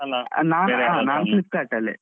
ನಾನ್ Flipkart ಅಲ್ಲಿ.